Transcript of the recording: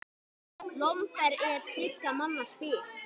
Lomber er þriggja manna spil.